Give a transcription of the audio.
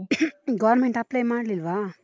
caugh Government apply ಮಾಡ್ಲಿಲ್ವಾ?